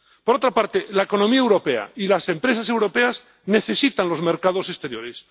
Por otra parte, la economía europea y las empresas europeas necesitan los mercados exteriores.